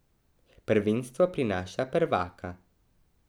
Prvenstvo prinaša prvaka.